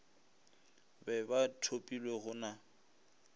be ba thopilwe go na